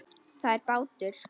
Það er bátur.